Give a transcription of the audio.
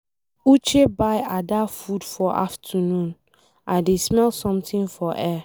Uche buy Ada food for afternoon, I dey smell something for air.